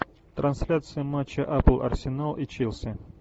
трансляция матча апл арсенал и челси